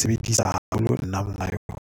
sebedisa haholo nna monga yona.